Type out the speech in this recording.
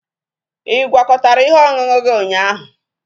Ị gwakọtara ihe ọṅụṅụ gị ụnyaahụ?